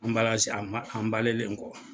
a kɔ.